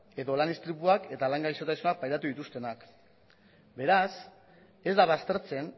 edo lan istripuak eta lan gaixotasunak pairatu dituztenak beraz ez da baztertzen